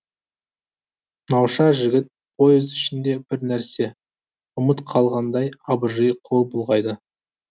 науша жігіт поезд ішінде бір нәрсе ұмыт қалғандай абыржи қол бұлғайды